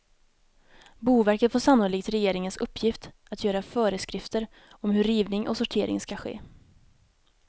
Boverket får sannolikt regeringens uppgift att göra föreskrifter om hur rivning och sortering skall ske.